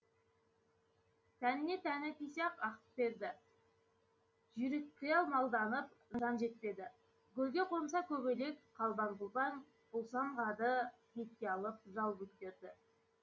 тәніне тәні тисе ақ ақкептерді жүйрікқиял малданып жан жетпеді гүлгеқонса көбелек қалбаң құлбаң бұлсамғады бетке алып жал бөктерді